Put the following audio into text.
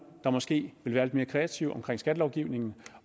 der måske vil være lidt mere kreative omkring skattelovgivningen